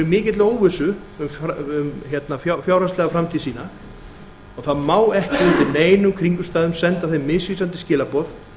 mikilli óvissu um fjárhagslega framtíð sína og það má ekki undir neinum kringumstæðum senda þeim misvísandi skilaboð